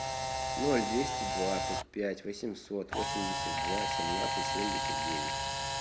ноль двести двадцать пять восемьсот восемьдесят два семнадцать семьдесят девять